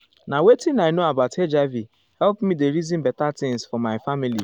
na wetin i know about hiv help me dey reason better things for my family.